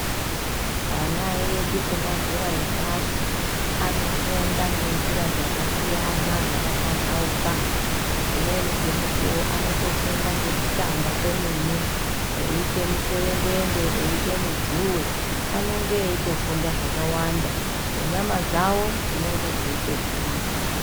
Ana edu emazera epashi anofunda ngenzira dzakasiyana dzakapamhauka, dzimweni dzemukuwo anotofunda ngekutamba kwemene eite mutserendende ,eite mudzuwe anonge eitofunde zvakawanda nenyama dzawo dzinonga dzeitogwinya.